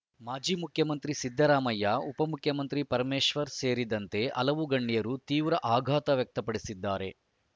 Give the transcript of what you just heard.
ಮಾಜಿ ಮುಖ್ಯಮಂತ್ರಿ ಸಿದ್ದರಾಮಯ್ಯ ಉಪಮುಖ್ಯಮಂತ್ರಿ ಪರಮೇಶ್ವರ್‌ ಸೇರಿದಂತೆ ಹಲವು ಗಣ್ಯರು ತೀವ್ರ ಆಘಾತ ವ್ಯಕ್ತಪಡಿಸಿದ್ದಾರೆ